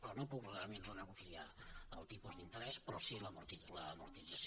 però no puc realment renegociar el tipus d’interès però sí l’amortització